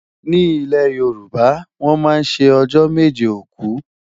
ní ilè yorùbá, wón má sé ọjọ méje òkú